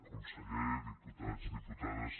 conseller diputats diputades